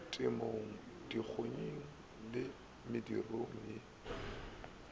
temong dikgonyeng le medirong ye